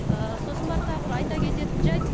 ы сосын барып тағы бір айта кететін жайт